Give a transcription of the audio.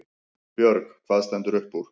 Björg: Hvað stendur upp úr?